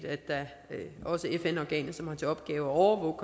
at det fn organ der har til opgave at overvåge